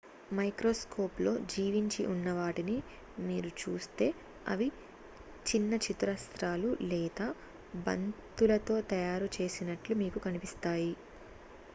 microscope లో జీవించి ఉన్నవాటిని మీరు చూస్తే ,అవి చిన్న చతురస్రాలు లేదా బంతులతో తయారు చేసినట్లు మీకు కనిపిస్తాయి